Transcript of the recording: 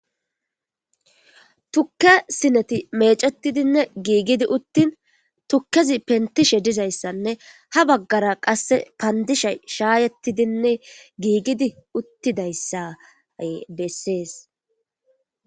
Tukke sineti meecettidinne giigidi uttin tukkezi pentishe dizayssanne ha baggara qasse pandishe shaayettidinne giigidi uttidayssa bessees.